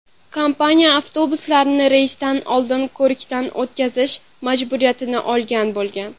Kompaniya avtobuslarni reysdan oldin ko‘rikdan o‘tkazish majburiyatini olgan bo‘lgan.